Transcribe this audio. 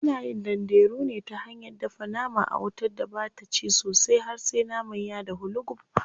Ana yin danderu ne ta hanyar dafa nama a wutar da bata ci sosai har sai naman ya dahu lugub.